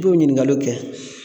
I b'o ɲininkaliw kɛ